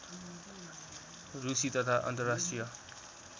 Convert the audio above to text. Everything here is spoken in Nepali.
रुसी तथा अन्तर्राष्ट्रिय